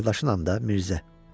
Qardaşın anında Mirzə.